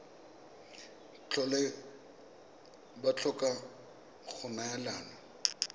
tlhole ba tlhoka go neelana